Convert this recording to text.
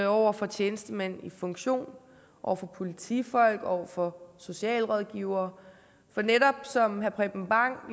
over for tjenestemænd i funktion over for politifolk over for socialrådgivere for netop som herre preben bang